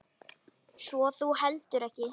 Svo þú heldur ekki?